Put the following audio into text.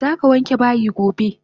Zaka wanke bayi gobe!